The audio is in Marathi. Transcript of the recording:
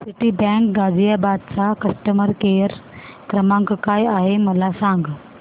सिटीबँक गाझियाबाद चा कस्टमर केयर क्रमांक काय आहे मला सांग